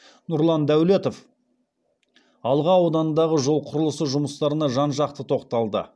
нұрлан даулетов алға ауданындағы жол құрылысы жұмыстарына жан жақты тоқталды